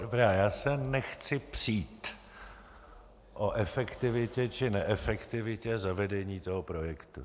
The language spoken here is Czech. Dobrá, já se nechci přít o efektivitě či neefektivitě zavedení toho projektu.